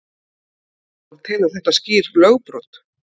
Adolf telur þetta skýrt lögbrot.